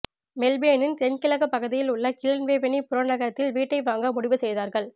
மெல்பேனின் தென்கிழக்கு பகுதியில் உள்ள கிளன்வேவலி புற நகரத்தில் வீட்டை வாங்க முடிவு செய்யதார்கள்